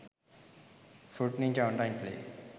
fruit ninja online play